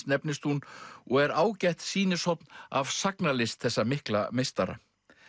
nefnist hún og er ágætt sýnishorn af sagnalist þessa mikla meistara